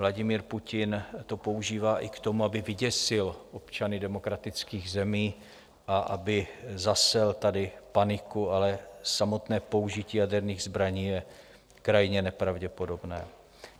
Vladimír Putin to používá i k tomu, aby vyděsil občany demokratických zemí a aby zasel tady paniku, ale samotné použití jaderných zbraní je krajně nepravděpodobné.